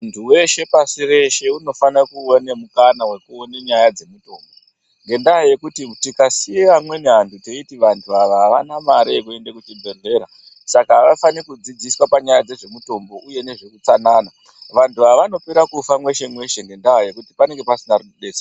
Muntu weshe pasi reshe unofana kuwana mukana wekuone nyaya dzemutombo ngendaa yekuti tikasiya amweni antu taiti antu awa avana mare yekuenda kuchibhedhleya saka avafani kudzidziswa nyaya dzemutombo uye ngezveutsanana vantu ava vanopera kufa mweshe mweshe ngendaa yekuti panenge pasina anodetsera .